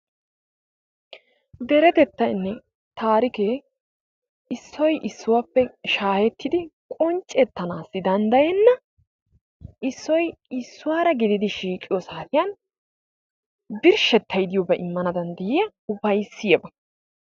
Deretettaynne taarike issoy issuwappe shaahettidi qonccettanassi danddayena, issoy issuwaara gidid shiiqiyo saatiyan birshshetay diyooba immana danddayiya upayssiyaaba.